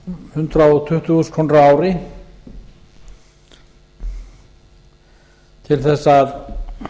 hundrað tuttugu þúsund krónur á ári til þess að